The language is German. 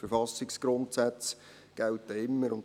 Die Verfassungsgrundsätze gelten immer.